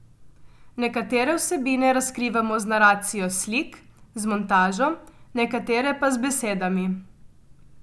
Nekatere vsebine razkrivamo z naracijo slik, z montažo, nekatere pa z besedami.